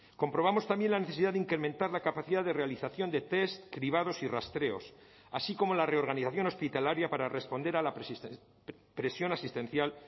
comprobamos también la necesidad de incrementar la capacidad de realización de test cribados y rastreos así como la reorganización hospitalaria para responder a la presión asistencial